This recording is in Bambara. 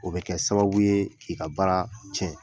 O bɛ kɛ sababu ye k'i ka baara tiɲɛ